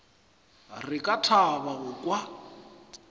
re ka thaba go kwa